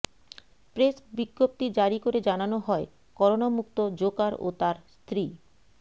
press বিজ্ঞপ্তি জারি করে জানানো হয় করোনা মুক্ত জোকার ও তার স্ত্রী